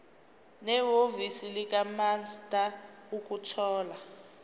nehhovisi likamaster ukuthola